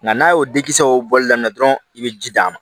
Nka n'a y'o disiw bɔli daminɛ dɔrɔn i bɛ ji d'a ma